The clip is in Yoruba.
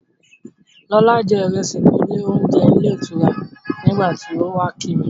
Lọlá jẹ ìrẹsì ní ilé-oúnje ilé-ìtura nígbà tí ó wá kí mi.